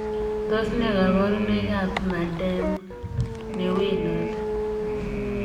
Tos ne kabarunoik ap Marden Newendotii ?